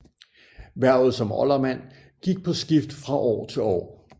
Hvervet som oldermand gik på skift fra år til år